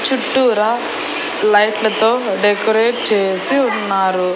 చుట్టూరా లైట్లతో డెకరేట్ చేసి ఉన్నారు.